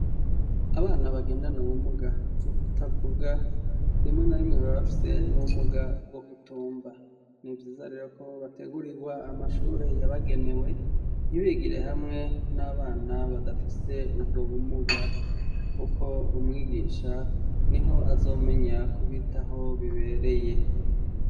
Abana bagendana ubumuga bwo kutavuga rimwe na rimwe baba bafise n'ubumuga bwo kutumva nivyiza rero ko bategurirwa amashure yabagenewe ntibigire hamwe n'abana badafise ubwo bumuga kuko umwigisha niho azomenya kubitaho bibereye.